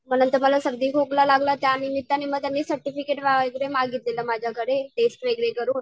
म नंतर मला सर्दी खोकला लागला त्यानिमित्ताने सर्टिफिकेट वगैरे मागितलेलं माझ्याकडे टेस्ट वगैरे करून